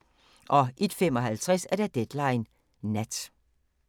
01:55: Deadline Nat